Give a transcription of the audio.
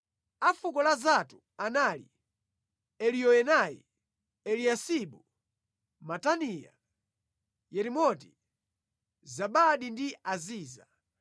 A fuko la Zatu anali Eliyoenai, Eliyasibu, Mataniya, Yeremoti, Zabadi ndi Aziza.